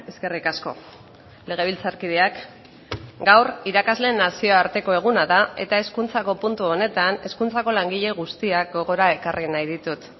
eskerrik asko legebiltzarkideak gaur irakasleen nazioarteko eguna da eta hezkuntzako puntu honetan hezkuntzako langile guztiak gogora ekarri nahi ditut